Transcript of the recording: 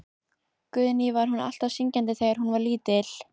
Guðný: Var hún alltaf syngjandi þegar hún var lítil?